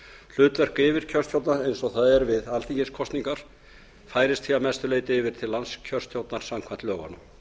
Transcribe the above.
hlutverk yfirkjörstjórna eins og það er við alþingiskosningar færist því að mestu leyti yfir til landskjörstjórnar samkvæmt lögunum